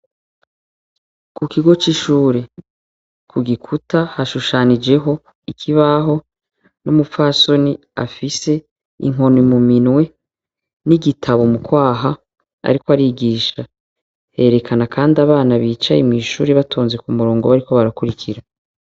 Mu kigo c'ishure, ku gikuta hashushanijeho ikibaho, n'umupfasoni afise inkoni mu minwe n'igitabu mu kwaha ariko arigisha. Yerekana Kandi abana bicaye mwishure batonze ku murongo bariko barakurikira.